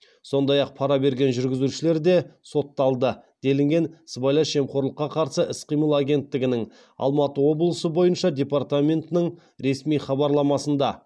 сондай ақ пара берген жүргізушілер де сотталды делінген сыбайлас жемқорлыққа қарсы іс қимыл агенттігінің алматы облысы бойынша департаментінің ресми хабарламасында